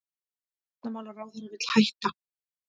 Varnarmálaráðherra vill hætta